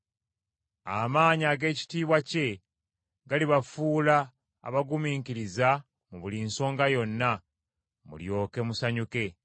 Amaanyi ag’ekitiibwa kye, galibafuula abagumiikiriza mu buli nsonga yonna, mulyoke musanyuke,